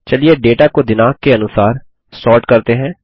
चलिए डेटा को दिनाँक के अनुसार सॉर्ट करते हैं